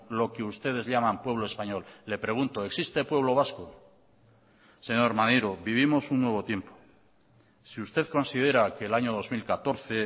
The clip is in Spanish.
lo que ustedes llaman pueblo español le pregunto existe pueblo vasco señor maneiro vivimos un nuevo tiempo si usted considera que el año dos mil catorce